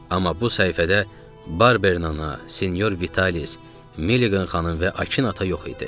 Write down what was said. Amma bu səhifədə Barbernəna, Sinyor Vitalis, Milligan xanım və Akin ata yox idi.